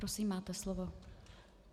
Prosím, máte slovo.